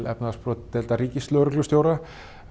efnahagsbrotadeild ríkislögreglustjóra